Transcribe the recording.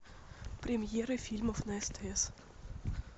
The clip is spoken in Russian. премьеры фильмов на стс